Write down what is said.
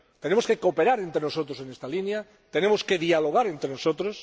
Tenemos que cooperar entre nosotros en esta línea, tenemos que dialogar entre nosotros